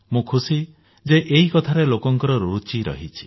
ମୁଁ ଖୁସି ଯେ ଏହି କଥାରେ ଲୋକଙ୍କ ରୁଚି ରହିଛି